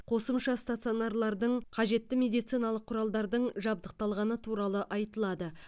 қосымша стационарлардың қажетті медициналық құралдардың жабдықталғаны туралы айтылады